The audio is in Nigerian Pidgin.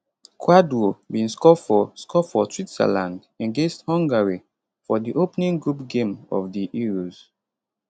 kwadwo bin score for score for switzerland against hungary for di opening group game of di euros